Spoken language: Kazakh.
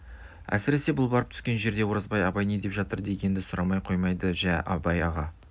әсіресе бұл барып түскен жерде оразбай абай не деп жатыр дегенді сұрамай қоймайды жә абай аға